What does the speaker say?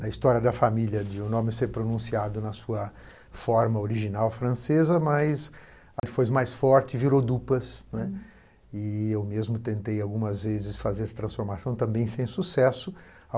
na história da família, de o nome ser pronunciado na sua forma original francesa, mas a que foi mais forte virou Dupas, né, e eu mesmo tentei algumas vezes fazer essa transformação, também sem sucesso.